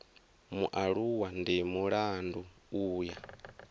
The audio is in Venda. mualuwa ndi mulandu u ya